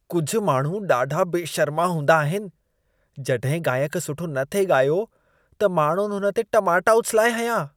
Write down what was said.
कुझु माण्हू ॾाढा बेशर्मा हूंदा आहिनि। जॾहिं गाइक सुठो न थे ॻायो, त माण्हुनि हुन ते टमाटा उछिलाए हंयां।